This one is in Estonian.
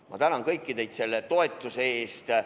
Ma tänan teid kõiki selle toetuse eest!